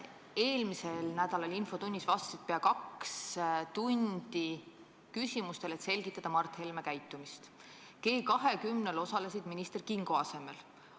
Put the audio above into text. Eelmisel nädalal infotunnis vastasid peaaegu kaks tundi küsimustele, et selgitada Mart Helme käitumist, ja osalesid minister Kingo asemel G20-l.